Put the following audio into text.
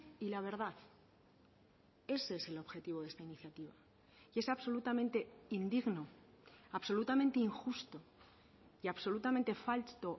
y la verdad ese es el objetivo de esta iniciativa y es absolutamente indigno absolutamente injusto y absolutamente falto